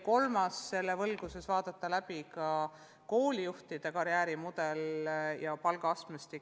Ja selle valguses on vaja vaadata läbi ka koolijuhtide karjäärimudel ja palgaastmestik.